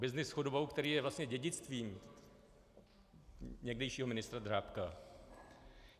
Byznys s chudobou, který je vlastně dědictvím někdejšího ministra Drábka.